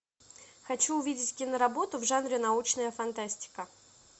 хочу увидеть киноработу в жанре научная фантастика